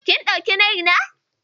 Kin ɗauki nai na?